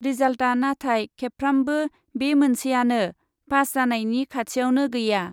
रिजाल्टआ नाथाय खेबफ्रामबो बे मोनसेआनो, पास जानायनि खाथियावनो गैया।